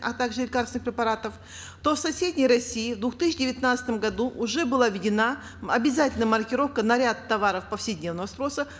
а также лекарственных препаратов то в соседней россии в две тысячи девятнадцатом году уже была введена обязательная маркировка на ряд товаров повседневного спроса